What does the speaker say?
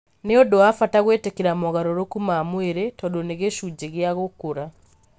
Nĩ ũndũ wa bata gwĩtĩkĩra mogarũrũku ma mwĩrĩ tondũ nĩ gĩcunjĩ kĩa gũkũra .